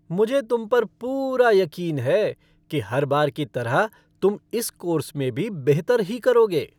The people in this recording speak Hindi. मुझे तुम पर पूरा यकीन है कि हर बार की तरह तुम इस कोर्स में भी बेहतर ही करोगे।